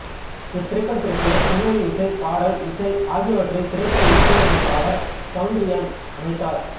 இத் திரைப்படத்திற்கு பின்ண்ணி இசை பாடல் இசை ஆகியவற்றை திரைப்பட இசையமைப்பாளர் சவுந்தரியன் அமைத்தார்